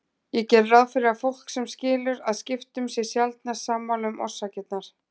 Ég geri ráð fyrir að fólk sem skilur að skiptum sé sjaldnast sammála um orsakirnar.